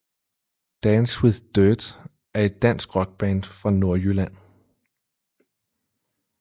Dance with Dirt er et dansk rockband fra Nordjylland